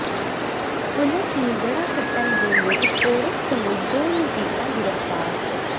ਪੁਲਸ ਨੇ ਦੜਾ ਸੱਟਾ ਲਗਾਉਂਦੇ ਇਕ ਔਰਤ ਸਮੇਤ ਦੋ ਨੂੰ ਕੀਤਾ ਗਿ੍ਰਫ਼ਤਾਰ